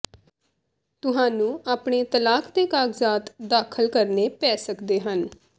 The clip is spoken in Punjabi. ਤੁਹਾਨੂੰ ਆਪਣੇ ਤਲਾਕ ਦੇ ਕਾਗਜ਼ਾਤ ਦਾਖਲ ਕਰਨੇ ਪੈ ਸਕਦੇ ਹਨ